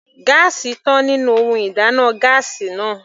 Gáásì tán nínú ohun ìdáná gáásì náà.